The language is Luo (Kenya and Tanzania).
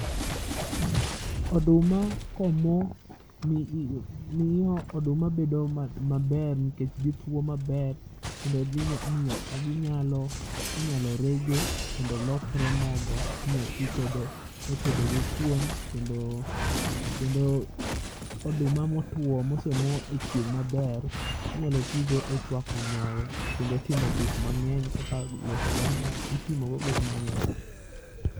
Oduma komo mi miing'o oduma bedo maber nikech gitwo maber, kendo dhi miyo o ginyalo inyalo rege. Mondo olokre mogo, inyati kode e tedogo kuon kendo, kendo oduma motwo mosemo e chieng' maber inyalo tigo e chwako nyoyo. Kendo timo gik mang'eny kaka losogo mo, itimogo gik mang'eny.